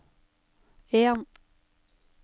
en